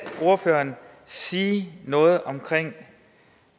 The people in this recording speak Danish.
ordføreren sige noget om